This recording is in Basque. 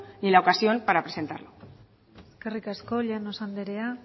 ni la ocasión para presentar eskerrik asko llanos anderea